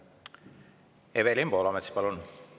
Evelin Poolamets, palun!